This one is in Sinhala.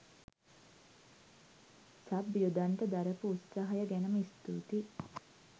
සබ් යොදන්ඩ දරපු උත්සාහය ගැනම ස්තුතියි.